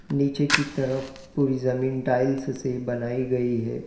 नीचे की तरफ पूरी जमीन टाइल्स से बनाई गई है।